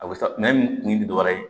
A bɛ sa nɛn kun tɛ dɔwɛrɛ ye